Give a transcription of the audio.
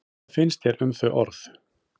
Hvað finnst þér um þau orð?